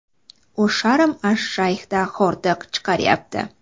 U Sharm-ash-Shayxda hordiq chiqaryapti.